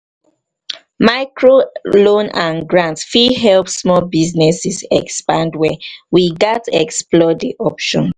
microloans and grants fit help small businesses expand well. we gats explore di options.